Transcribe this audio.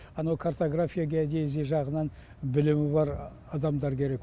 анау картография геодезия жағынан білімі бар адамдар керек